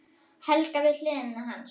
Helga við hlið hans.